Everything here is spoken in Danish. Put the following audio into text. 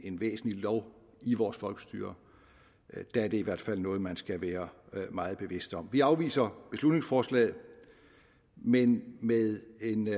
en væsentlig lov i vores folkestyre er det i hvert fald noget man skal være meget bevidst om vi afviser beslutningsforslaget men med